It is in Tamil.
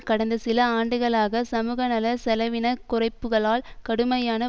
கடந்த சில ஆண்டுகளாக சமூகநல செலவின குறைப்புக்களால் கடுமையான